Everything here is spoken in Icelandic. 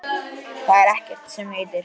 Það er ekkert sem heitir!